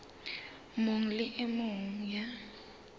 mong le e mong ya